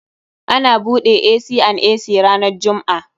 Ana buɗe C and C ranan jumm'a.